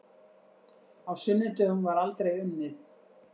Á sunnudögum var aldrei unnið.